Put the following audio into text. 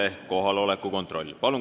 Palun teeme kohaloleku kontrolli!